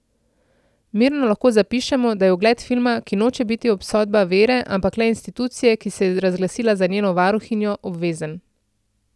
Mirno lahko zapišemo, da je ogled filma, ki noče biti obsodba vere, ampak le institucije, ki se je razglasila za njeno varuhinjo, obvezen.